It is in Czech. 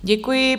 Děkuji.